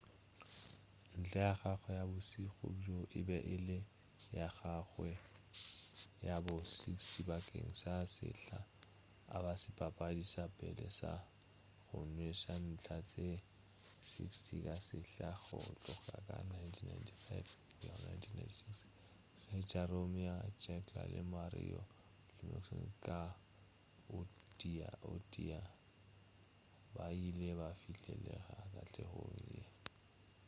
ntlha ya gagwe ya bošego bjo e be e le ya gagawe ya bo 60 bakeng sa sehla a ba sebapadi sa pele sa go nweša ntlha tše 60 ka sehla go tloga ka 1995-96 ge jaromir jagr le mario lemieux ka o tee o tee ba ile ba fihlelela katlego ye